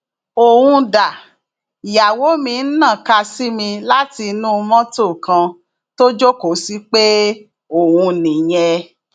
òun dáìyàwó mi ń nàka sí mi látinú mọtò kan tó jókòó sí pé òun nìyẹn